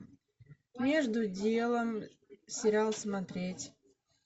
между делом сериал смотреть